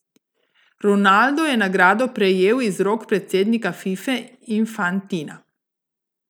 Ronaldo je nagrado prejel iz rok predsednika Fife Infantina.